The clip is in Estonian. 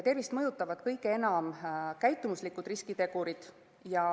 Tervist mõjutavad kõige enam käitumuslikud riskitegurid.